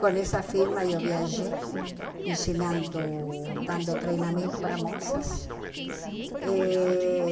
Com essa firma, eu viajei ensinando, dando treinamento para moças. E